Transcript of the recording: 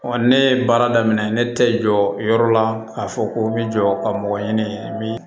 ne ye baara daminɛ ne tɛ jɔ yɔrɔ la k'a fɔ ko n bɛ jɔ ka mɔgɔ ɲini min